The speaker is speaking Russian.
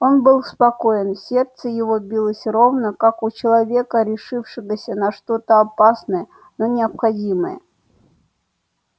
он был спокоен сердце его билось ровно как у человека решившегося на что-то опасное но необходимое